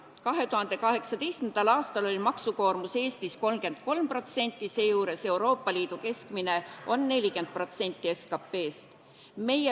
2018. aastal oli maksukoormus Eestis 33%, seejuures Euroopa Liidu keskmine on 40% SKT-st.